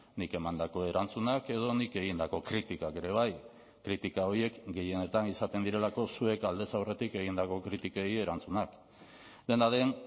nik emandako erantzunak edo nik egindako kritikak ere bai kritika horiek gehienetan izaten direlako zuek aldez aurretik egindako kritikei erantzunak dena den